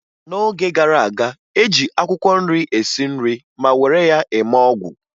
N'oge gara aga, e ji akwụkwọ nri esi nri ma were ya eme ọgwụ